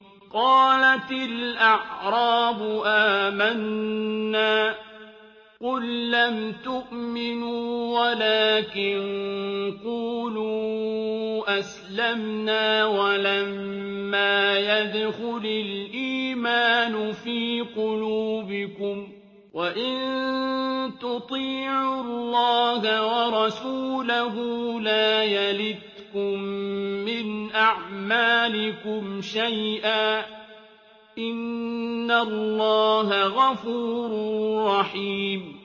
۞ قَالَتِ الْأَعْرَابُ آمَنَّا ۖ قُل لَّمْ تُؤْمِنُوا وَلَٰكِن قُولُوا أَسْلَمْنَا وَلَمَّا يَدْخُلِ الْإِيمَانُ فِي قُلُوبِكُمْ ۖ وَإِن تُطِيعُوا اللَّهَ وَرَسُولَهُ لَا يَلِتْكُم مِّنْ أَعْمَالِكُمْ شَيْئًا ۚ إِنَّ اللَّهَ غَفُورٌ رَّحِيمٌ